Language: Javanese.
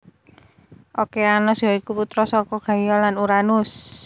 Okeanos ya iku putra saka Gaia lan Uranus